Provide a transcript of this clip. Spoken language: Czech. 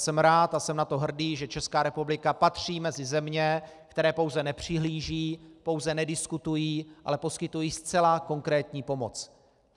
Jsem rád a jsem na to hrdý, že ČR patří mezi země, které pouze nepřihlížejí, pouze nediskutují, ale poskytují zcela konkrétní pomoc.